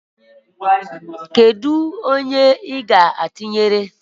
kedụ onye ị ga-atụnyere?